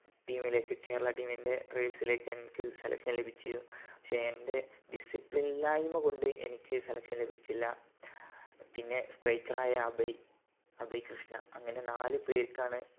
team ലേക്ക് Kerala team ൻ്റെ trials ലെക് നമ്മക്ക് selection ലഭിച്ചു പക്ഷെ എൻ്റെ discipline ഇല്ലായ്‌മ കൊണ്ട് എനിക്ക് selection ലഭിച്ചില്ല പിന്നെ striker ആയ അഭയ് അഭയ്‌കൃഷ്ണ അങ്ങനെ നാല് പേർക്കാണ്